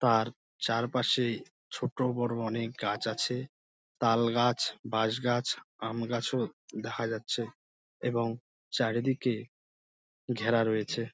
তার চারপাশে ছোট বড় অনেক গাছ আছে তালগাছ বাঁশগাছ আমগাছও দেখা যাচ্ছে এবং চারিদিকে ঘেরা রয়েছে।